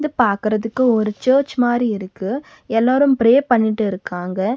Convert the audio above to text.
இது பாக்கறதுக்கு ஒரு சர்ச் மாரி இருக்கு எல்லோரும் ப்ரே பண்ணிட்டு இருக்காங்க.